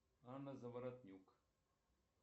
анна заворотнюк